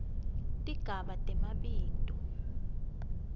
tigaba temabito